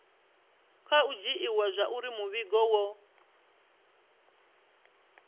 khou dzhiiwa zwauri muvhigo wo